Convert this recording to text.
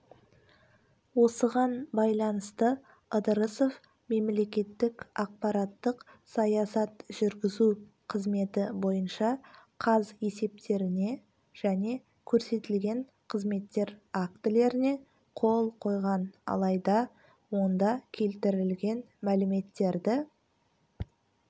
осыған байланысты ыдырысов мемлекеттік ақпараттық саясат жүргізу қызметі бойынша қаз есептеріне және көрсетілген қызметтер актілеріне қол қойған алайда онда келтірілген мәліметтерді